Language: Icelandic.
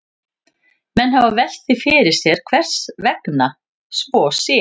Menn hafa velt því fyrir sér hvers vegna svo sé.